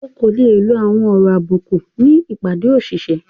Ọ́ kò le lọ àwọn ọ̀rọ̀ àbúkù ní ìpádé òṣìṣẹ.